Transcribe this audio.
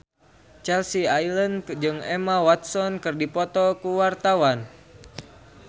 Chelsea Islan jeung Emma Watson keur dipoto ku wartawan